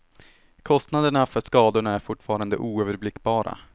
Kostnaderna för skadorna är fortfarande oöverblickbara.